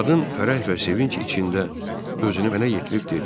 Qadın fərəh və sevinc içində özünü mənə yetirib dedi: